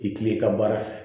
I tile ka baara fɛ